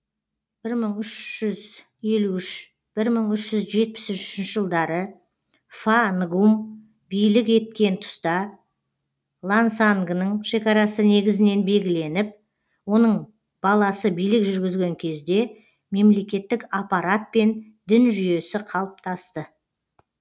бір мың үш жүз елу үш бір мың үш жүз жетпіс үшінші жылдары фа нгум билік еткен тұста лансангының шекарасы негізінен белгіленіп оның баласы билік жүргізген кезде мемлекеттік аппарат пен дін жүйесі қалыптасты